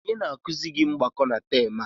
Onye na-akụzi mgbakọ na taam a?